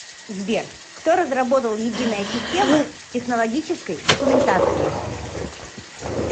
сбер кто разработал единая система технологической документации